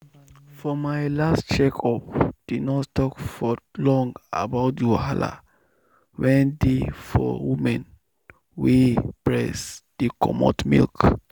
for my last check up the nurse talk for long about the wahala wen dey for women wey breast dey comot milk.